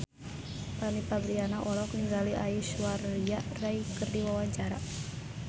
Fanny Fabriana olohok ningali Aishwarya Rai keur diwawancara